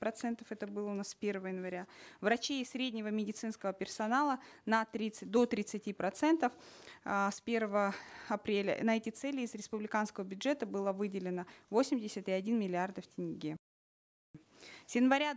процентов это было у нас с первого января врачей и среднего медицинского персонала на тридцать до тридцати процентов э с первого апреля на эти цели из республиканского бюджета было выделено восемьдесят и один миллиардов тенге с января